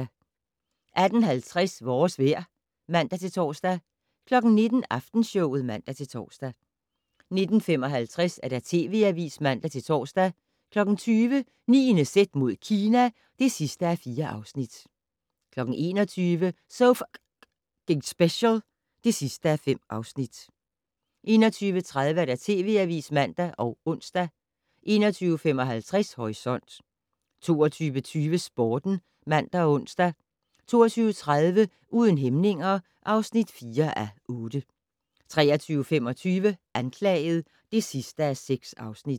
18:50: Vores vejr (man-tor) 19:00: Aftenshowet (man-tor) 19:55: TV Avisen (man-tor) 20:00: 9.z mod Kina (4:4) 21:00: So F***ing Special (5:5) 21:30: TV Avisen (man og ons) 21:55: Horisont 22:20: Sporten (man og ons) 22:30: Uden hæmninger (4:8) 23:25: Anklaget (6:6)